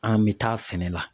An mɛ taa sɛnɛ la.